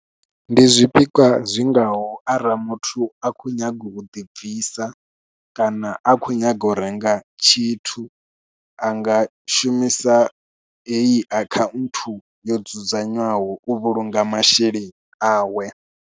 Ndi zwipikwa zwingaho arali muthu a khou nyaga u ḓibvisa kana a khou nyaga u renga tshithu, a nga shumisa eyi account yo dzudzanywaho u vhulunga masheleni awe.